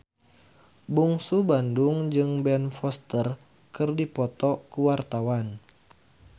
Bungsu Bandung jeung Ben Foster keur dipoto ku wartawan